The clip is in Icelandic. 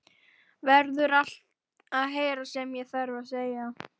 Verður að heyra allt sem ég þarf að segja.